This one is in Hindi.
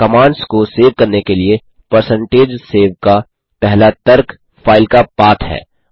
कमांड्स को सेव करने के लिए परसेंटेज सेव का पहला तर्क फाइल का पाथ है